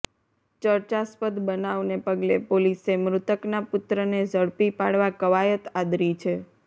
ચર્ચાસ્પદ બનાવને પગલે પોલીસે મૃતકના પુત્રને ઝડપી પાડવા કવાયત આદરી છે